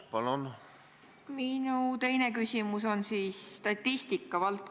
Ma soovin kindlasti vastata sellele küsimusele laiemalt.